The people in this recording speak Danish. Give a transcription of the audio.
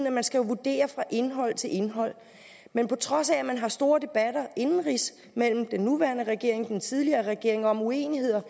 at man skal vurdere fra indhold til indhold men på trods af at man har store debatter indenrigs mellem den nuværende regering og den tidligere regering om uenigheder